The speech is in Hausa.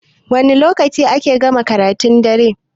Wani lokaci ake gama karatun dare?